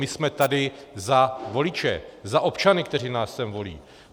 My jsme tady za voliče, za občany, kteří nás sem volí.